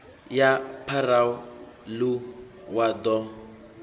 ya pharou ḽu wa ḓo